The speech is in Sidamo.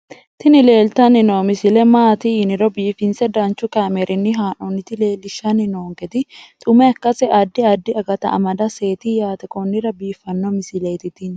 tini leeltanni noo misile maaati yiniro biifinse danchu kaamerinni haa'noonnita leellishshanni nonketi xuma ikkase addi addi akata amadaseeti yaate konnira biiffanno misileeti tini